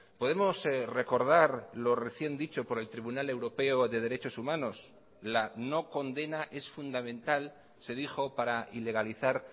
podemos recordar lo recién dicho por el tribunal europeo de derechos humanos la no condena es fundamental se dijo para ilegalizar